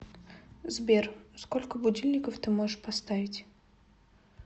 сбер сколько будильников ты можешь поставить